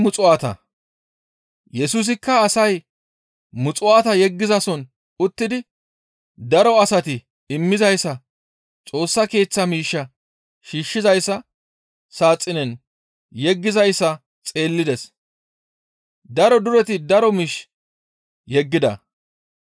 Yesusikka asay muxuwaata yeggizason uttidi daro asati immizayssa Xoossa Keeththa miishsha shiishshiza saaxinen yeggizayssa xeellides. Daro dureti daro miish yeggida.